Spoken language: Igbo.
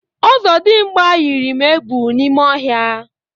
Ọzọdịmgba yiri m egwu n'ime ọhịa.